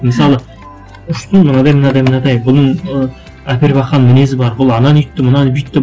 мысалы мынадай мынадай мынадай бүгін ы әпербақан мінезі бар бұл ананы өйтті мынаны бүйтті